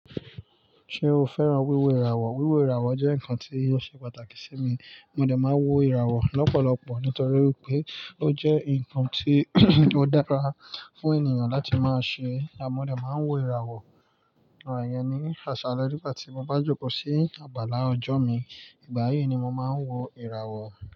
Ṣé o fẹ́ràn wíwo ìràwọ̀? Wíwo ìràwọ̀ jẹ́ ǹkan tí ó ṣe pàtàkì sí mi. Mó dẹ máa ń wo ìràwọ̀ lọ́pọ̀lọpọ̀ nítorí pé ó jẹ́ ǹkan tí ó dára fún ènìyàn láti máa ṣe. Mó dé máa ń wo ìràwọ̀, ìyẹn ni àṣálẹ́ nígbà tí mo bá jókòó sí àgbàlá ọjọ́ mi. Ìgbà yìí ni mo máa ń wo ìràwọ̀.